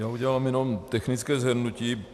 Já udělám jenom technické shrnutí.